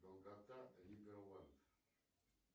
долгота